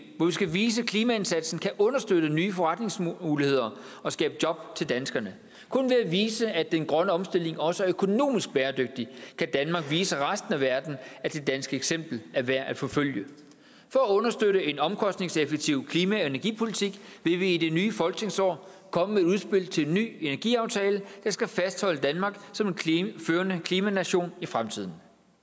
hvor vi skal vise at klimaindsatsen kan understøtte nye forretningsmuligheder og skabe job til danskerne kun ved at vise at den grønne omstilling også er økonomisk bæredygtig kan danmark vise resten af verden at det danske eksempel er værd at forfølge for at understøtte en omkostningseffektiv klima og energipolitik vil vi i det nye folketingsår komme med et udspil til en ny energiaftale der skal fastholde danmark som en førende klimanation i fremtiden